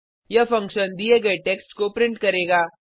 यह फंक्शन दिये गये टेक्स्ट को प्रिंट करेगा